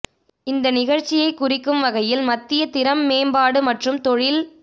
இந்த நிகழ்ச்சியை குறிக்கும் வகையில் மத்திய திறன் மேம்பாடு மற்றும் தொழில்